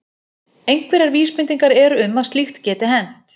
Einhverjar vísbendingar eru um að slíkt geti hent.